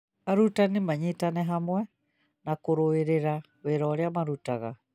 Arutani manyitane hamwe na kũrũĩrĩra wĩra ũrĩa marutaga